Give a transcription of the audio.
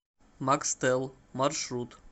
макстел маршрут